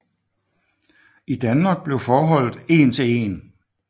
I Danmark blev forholdet én til én